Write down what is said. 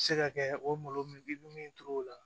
Se ka kɛ o malo min bɛ min turu o la